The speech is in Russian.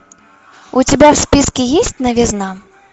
у тебя в списке есть новизна